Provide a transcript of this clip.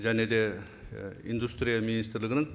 және де і индустрия министрлігінің